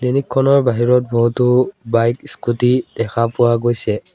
Clinic খনৰ বাহিৰত বহুতো বাইক স্কুটী দেখা পোৱা গৈছে।